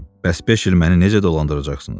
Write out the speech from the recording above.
Bəs beş il məni necə dolandıracaqsınız?